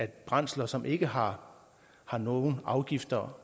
brændsler som ikke har har nogen afgifter